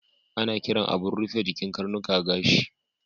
Ana kiran abun rufe jikin karnuka gashi.